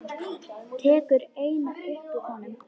Tekur eina upp úr honum.